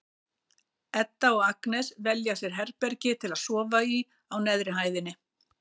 Edda og Agnes velja sér herbergi til að sofa í á neðri hæðinni.